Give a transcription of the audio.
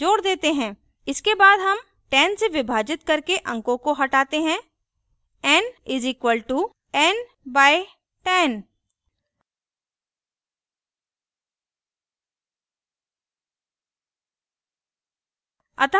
इसके बाद हम 10 से विभाजित करके अंकों को हटाते हैं n = n/10